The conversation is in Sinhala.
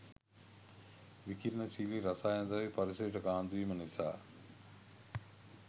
විකිරනශීලී රසායන ද්‍රව්‍ය පරිසරයට කාන්දු වීම නිසා